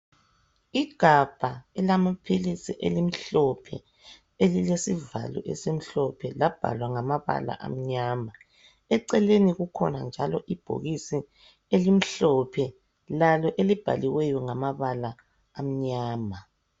Igabha elamapilisi elimhlophe elilesivalo esimhlophe labhalwa ngamabala anyama eceleni kukhona njalo ibhoxisi elimhlophe lalo elibhaliweyo ngamabala amnyama